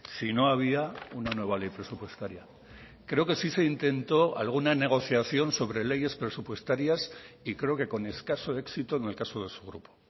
si no había una nueva ley presupuestaria creo que si se intentó alguna negociación sobre leyes presupuestarias y creo que con escaso éxito en el caso de su grupo